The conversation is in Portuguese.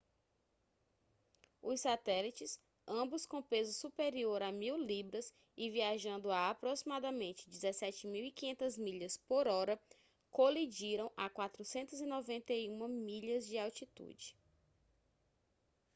os satélites ambos com peso superior a 1.000 libras e viajando a aproximadamente 17.500 milhas por hora colidiram a 491 milhas de altitude